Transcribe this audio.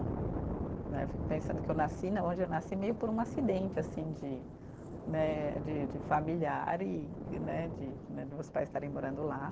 Né eu fico pensando que eu nasci né, onde eu nasci meio por um acidente assim de né, de de familiar e né de né de meus pais estarem morando lá.